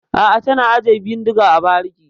A'a, tana ajiye bindiga a bariki.